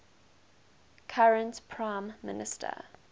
current prime minister